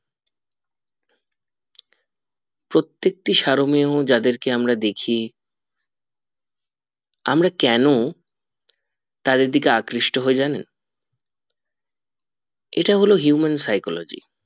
প্রত্যেকটি সারোমীয় যাদেরকে আমরা দেখি আমরা কেন তাদের দিকে আকৃষ্ট হই জানেন ইটা হলো human phychology